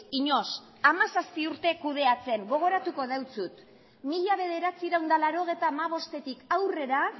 inoiz hamazazpi urte kudeatzen gogoratuko dizut mila bederatziehun eta laurogeita hamabostetik aurrera